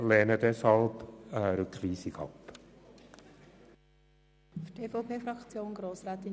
Die grüne Fraktion lehnt die Rückweisung deshalb ab.